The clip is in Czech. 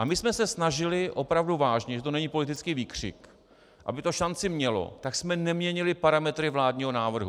A my jsme se snažili opravdu vážně, že to není politický výkřik, aby to šanci mělo, tak jsme neměnili parametry vládního návrhu.